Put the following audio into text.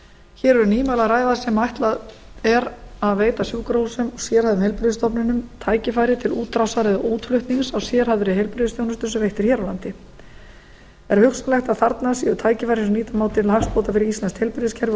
hér er um nýmæli að ræða sem ætlað er að veita sjúkrahúsum og sérhæfðum heilbrigðisstofnunum tækifæri til útrásar eða útflutnings á sérhæfðri heilbrigðisþjónustu sem veitt er hér á landi er hugsanlegt að þarna séu tækifæri sem nýta má til hagsbóta fyrir íslenskt heilbrigðiskerfi og